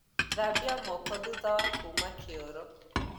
Thambia moko thutha wa kuma kĩoro